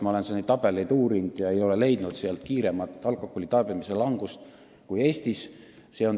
Ma olen neid tabeleid uurinud ega ole neist leidnud kiiremat alkoholi tarbimise vähenemist kui Eestis.